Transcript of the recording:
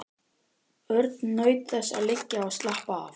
Örn naut þess að liggja og slappa af.